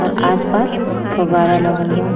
और आस-पास फवारा लगल बा।